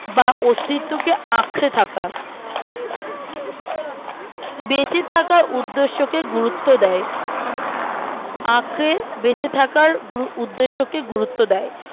বা অস্তিত্বকে আঁকড়ে থাকা বেঁচে থাকার উদ্দের্শকে গুরুত্ব দেয় আঁকড়ে বেঁচে থাকার উদ্দের্শকে গুরুত্ব দেয়